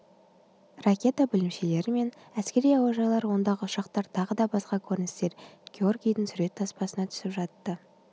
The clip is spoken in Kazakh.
ракета бөлімшелері мен әскери әуежайлар ондағы ұшақтар тағы да басқа көріністер георгийдің сурет таспасына түсіп жатты